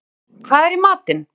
Mikkael, hvað er í matinn?